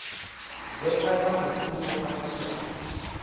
vhekanya mishumo nga fhasi ha